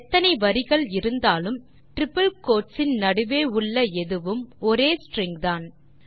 எத்தனை வரிகள் இருந்தாலும் டிரிப்பிள் கோட்ஸ் இன் நடுவே உள்ள எதுவும் ஒரே ஸ்ட்ரிங் தான்